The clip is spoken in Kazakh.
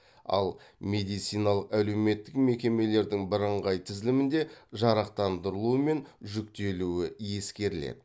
ал медициналық әлеуметтік мекемелердің бірыңғай тізілімінде жарақтандырылуы мен жүктелуі ескеріледі